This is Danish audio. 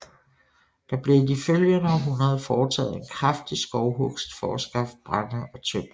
Der blev i de følgende århundreder foretaget en kraftig skovhugst for at skaffe brænde og tømmer